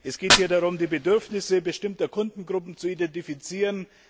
Es geht hier darum, die Bedürfnisse bestimmter Kundengruppen zu identifizieren.